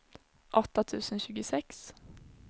åtta tusen tjugosex